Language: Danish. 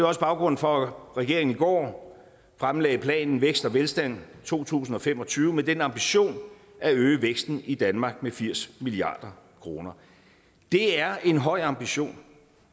også baggrunden for at regeringen i går fremlagde planen vækst og velstand to tusind og fem og tyve med den ambition at øge væksten i danmark med firs milliard kroner det er en høj ambition